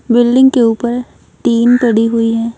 Building के ऊपर tin पड़ी हुई है।